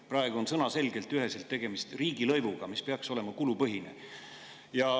Praegu on sõnaselgelt üheselt tegemist riigilõivuga, mis peaks olema kulupõhine.